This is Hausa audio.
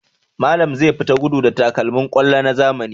Malam zai tafi gudu da takalmin kwallo na zamani.